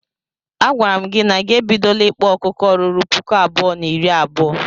A gwara m gi na gị ebidola ikpa ọkụkọ ruru puku abụọ na iri abuo.